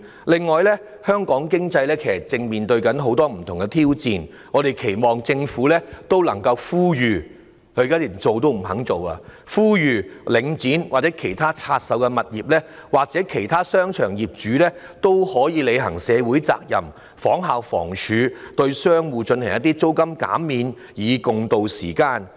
此外，香港經濟正面對很多不同的挑戰，我們期望政府能夠呼籲——但政府完全不願做——領展、其拆售的物業業主，又或其他商場業主可以履行社會責任，仿效房署向商戶提供租金減免，共渡時艱。